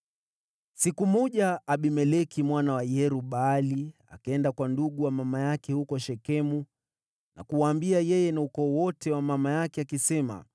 Siku moja Abimeleki mwana wa Yerub-Baali akaenda kwa ndugu ya mama yake huko Shekemu na kuwaambia yeye na ukoo wote wa mama yake,